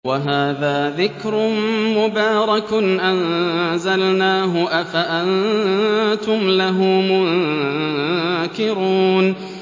وَهَٰذَا ذِكْرٌ مُّبَارَكٌ أَنزَلْنَاهُ ۚ أَفَأَنتُمْ لَهُ مُنكِرُونَ